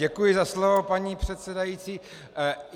Děkuji za slovo, paní předsedající.